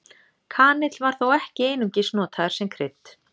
Kanill var þó ekki einungis notaður sem krydd.